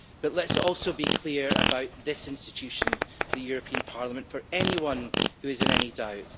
Let us also be clear about this institution, the European Parliament, for anyone who is in any doubt.